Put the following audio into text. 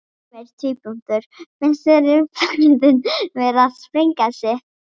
Heimir: Finnst þér umferðin vera að sprengja sig?